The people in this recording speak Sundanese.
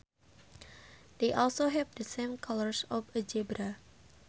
They also have the same colours of a zebra